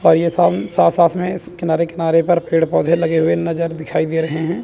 और ये सम साथ साथ में किनारे किनारे पर पेड़ पौधे लगे हुए नजर दिखाई दे रहे है।